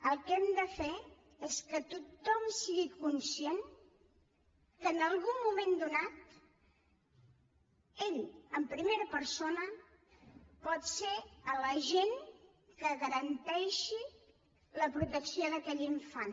el que hem de fer és que tothom sigui conscient que en algun moment donat ell en primera persona pot ser l’agent que garanteixi la protecció d’aquell infant